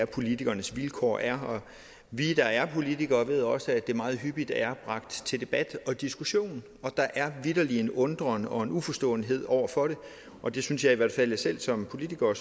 politikernes vilkår er og vi der er politikere ved også at det meget hyppigt er bragt til debat og diskussion og der er vitterlig en undren og en uforståenhed over for det og det synes jeg i hvert fald selv som politiker og